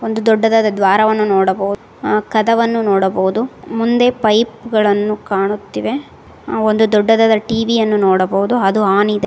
ಒಂದು ದೊಡ್ಡದಾದ ದ್ವಾರವನ್ನ ನೋಡಬಹು ಅ ಕದವನ್ನು ನೋಡಬಹುದು ಮುಂದೆ ಪೈಪ ಗಳನ್ನು ಕಾಣುತ್ತಿವೆ ದೊಡ್ಡದಾದ ಟಿ_ವಿ ಅನ್ನು ನೋಡಬಹುದು ಅದು ಆನ್ ಇದೆ.